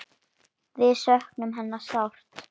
Við söknum hennar sárt.